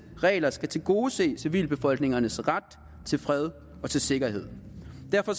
regler skal tilgodese civilbefolkningernes ret til fred og til sikkerhed derfor